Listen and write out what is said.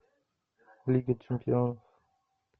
лига чемпионов